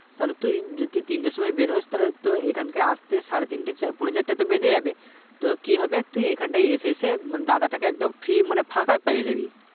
তাহলে তু যদি তিনটের সময় বেরোস তাহলে তো এখানকে আস্তে সাড়ে তিনটে চারপোনে চারটে তো বেজে যাবে তো কি হবে তুই এখানটায় এসে এসে মানে দাদাটাকে একদম free মানে ফাঁকা পেয়ে জাবি